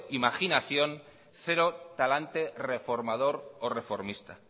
imaginación cero talante reformador o reformista